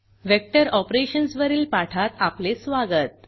vector operations वरील पाठात आपले स्वागत